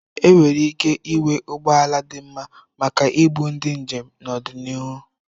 Enwere ike ịnwe ụgbọ ala dị mma maka ibu ndi njem n'ọdịnihu.